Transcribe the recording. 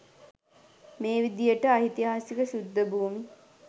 මේ විදියට ඓතිහාසික ශුද්ධ භූමි